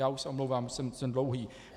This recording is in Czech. Já už se omlouvám, jsem dlouhý.